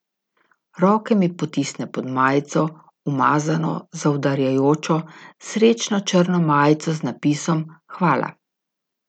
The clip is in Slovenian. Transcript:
Roke mi potisne pod majico, umazano, zaudarjajočo, srečno črno majico z napisom hvala.